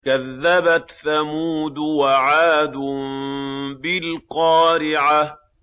كَذَّبَتْ ثَمُودُ وَعَادٌ بِالْقَارِعَةِ